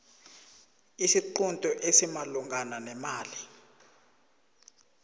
isiqunto esimalungana nemali